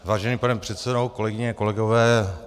Vážený pane předsedo, kolegyně, kolegové.